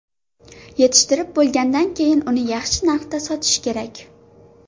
Yetishtirib bo‘lgandan keyin uni yaxshi narxda sotish kerak.